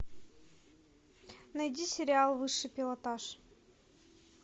найди сериал высший пилотаж